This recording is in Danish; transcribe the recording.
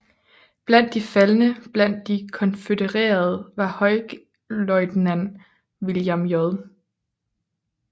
Blandt de faldne blandt de konfødererede var generalløjtnant William J